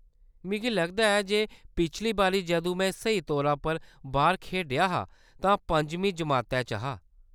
मिगी लगदा ऐ जे पिछली बारी जदूं मैं स्हेई तौरा पर बाह्‌र खेढेआ हा तां पंजमीं जमातै च हा।